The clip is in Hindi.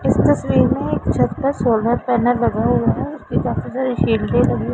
इस तस्वीर में एक छत पर सोलर पैनल लगा हुआ है उसपे काफी सारे शील्डे लगी--